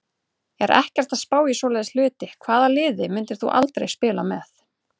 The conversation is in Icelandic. Er ekkert að spá í svoleiðis hluti Hvaða liði myndir þú aldrei spila með?